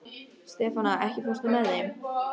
Stefana, ekki fórstu með þeim?